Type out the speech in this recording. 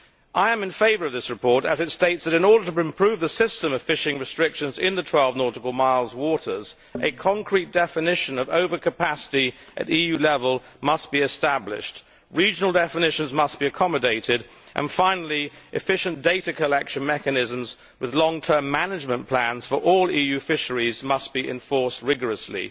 I am in favour of this report as it states that, in order to improve the system of fishing restrictions in the 12 nautical mile waters, a concrete definition of over capacity must be established at EU level, regional definitions must be accommodated and, finally, efficient data collection mechanisms with long term management plans for all EU fisheries must be enforced rigorously.